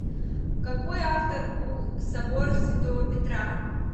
какой автор у собор святого петра